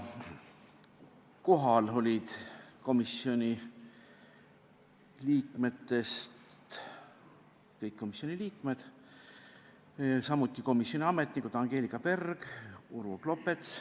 Kohal olid kõik komisjoni liikmed, samuti komisjoni ametnikud Angelika Berg ja Urvo Klopets.